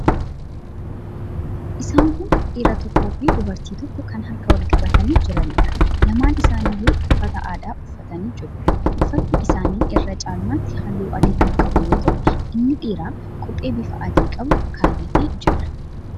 Isaan kun dhiiraa tokkoofi dubartii tokko kan harka wal qabatanii jiraniidha. Lamaan isaaniiyyuu uffata aadaa uffatanii jiru. Uffatni isaanii irra caalmaatti halluu adii kan qabu yoo ta'u, inni dhiiraa kophee bifa adii qabu kaa'atee jira.